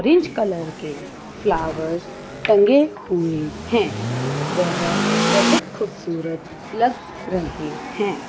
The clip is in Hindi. कलर के फ्लावर्स टंगे हुए हैं वह बहुत खूबसूरत लग रहे हैैं।